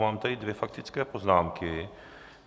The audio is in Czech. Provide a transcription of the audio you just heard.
Mám tady dvě faktické poznámky.